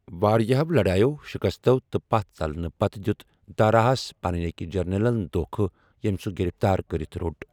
واریٛاہو لڑایو ، شکستو تہٕ پتھ ژلنہٕ پتہٕ ، دِیوٗت داراہس پنٕنہِ اكہِ جرنیلن دوكھہٕ ، ییمہِ سوٗ گِرِفتار كرِتھ رو٘ٹ ۔